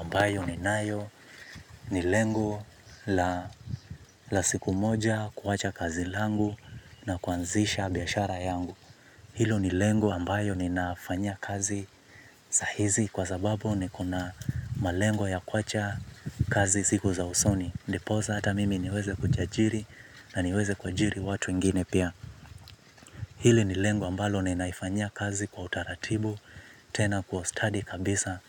Ambayo ni nayo ni lengo la siku moja kuwacha kazi langu na kuanzisha biashara yangu. Hilo ni lengo ambayo ni nafanya kazi sahizi kwa sababu ni kuna malengo ya kuaacha kazi ziku za usoni. Ndiposa ata mimi niweze kujajiri na niweze kujiri watu ingine pia. Hili ni lengo ambayo ni naifanya kazi kwa utaratibu tena kwa study kabisa.